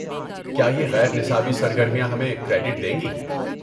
کیا یہ غیر نصابی سرگرمیاں ہمیں کریڈٹ دیں گی؟